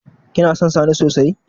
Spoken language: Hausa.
Kina son sani sosai?